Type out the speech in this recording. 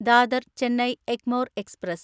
Dadar Chennai Egmore express